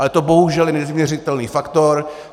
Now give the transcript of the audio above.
Ale to bohužel je nevyměřitelný faktor.